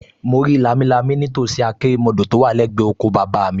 Mo rí lámilámi nítòsí àkérémọdọ̀ tó wà lẹ́gbẹ̀ẹ́ oko bàbá mi